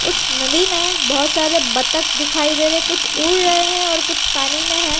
उस नदी में बहुत सारे बत्तख दिखाई दे रहे है कुछ उड़ रहे हैं और कुछ पानी में हैं।